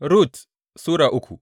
Rut Sura uku